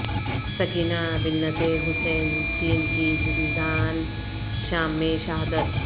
سکینہ بنت حسین س کی زندان شام میں شہادت